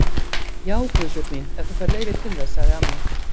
Já, Guðbjörg mín, ef þú færð leyfi til þess sagði amma.